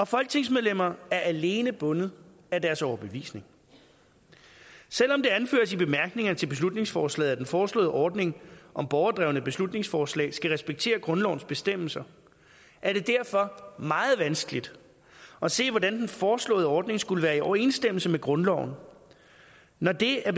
folketingsmedlemmer er alene bundet af deres overbevisning selv om det anføres i bemærkningerne til beslutningsforslaget at den foreslåede ordning om borgerdrevne beslutningsforslag skal respektere grundlovens bestemmelser er det derfor meget vanskeligt at se hvordan den foreslåede ordning skulle være i overensstemmelse med grundloven når det af